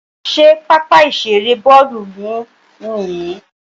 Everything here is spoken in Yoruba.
Ṣé pápá ìṣeré Bọ́ọ́lù yín nìyí